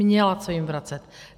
Měla co jim vracet.